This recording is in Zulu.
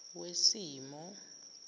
wesimo